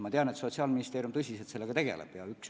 Ma tean, et Sotsiaalministeerium tegeleb sellega tõsiselt.